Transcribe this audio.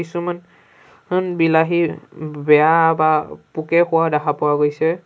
কিছুমান আন বিলাহী ব বেয়া বা পোকে খোৱা দেখা পোৱা গৈছে।